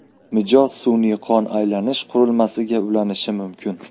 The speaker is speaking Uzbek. Mijoz sun’iy qon aylanish qurilmasiga ulanishi mumkin.